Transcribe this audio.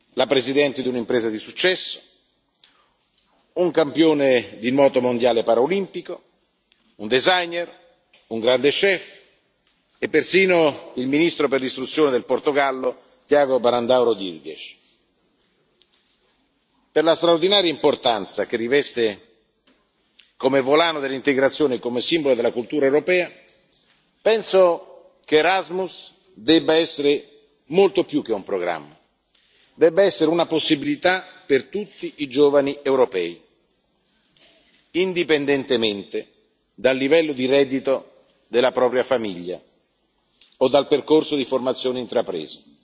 Abbiamo qui la presidente di un'impresa di successo, un campione di moto mondiale paraolimpico, un designer, un grande chef e persino il Ministro dell'Istruzione del Portogallo, Tiago Brandão Rodrigues. Per la straordinaria importanza che riveste come volano dell'integrazione e come simbolo della cultura europea, penso che Erasmus debba essere molto più che un programma, debba essere una possibilità per tutti i giovani europei, indipendentemente dal livello di reddito della propria famiglia o dal percorso di formazione